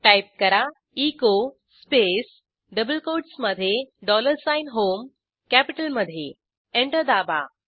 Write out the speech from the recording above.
type करा echo space double quotes मधे dollar sign HOMEकॅपिटलमधे एंटर दाबा